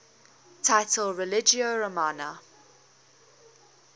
title religio romana